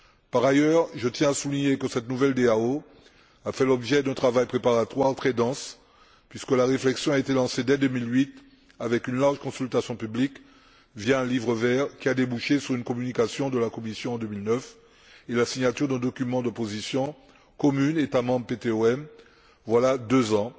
Par ailleurs, je tiens à souligner que cette nouvelle DAO a fait l'objet d'un travail préparatoire très dense, puisque la réflexion a été lancée dès 2008 avec une large consultation publique, via un livre vert qui a débouché sur une communication de la Commission en 2009 et la signature d'un document de position commune États membres PTOM, voilà deux ans.